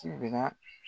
Ti bila